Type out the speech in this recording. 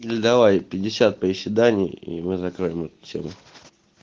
ну или давай пятьдесят приседаний и мы закрыли эту тему